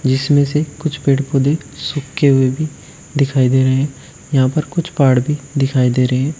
इसमें से कुछ पेड़ पौधे सूखे हुए भी दिखाई दे रहे हैं यहां पर कुछ पहाड़ भी दिखाई दे रहे हैं।